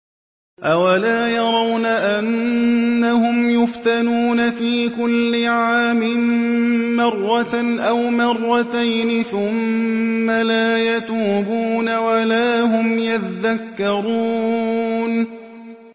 أَوَلَا يَرَوْنَ أَنَّهُمْ يُفْتَنُونَ فِي كُلِّ عَامٍ مَّرَّةً أَوْ مَرَّتَيْنِ ثُمَّ لَا يَتُوبُونَ وَلَا هُمْ يَذَّكَّرُونَ